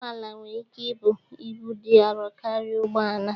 Ụgbọala nwere ike ibu ibu dị arọ karịa ụgbọ ala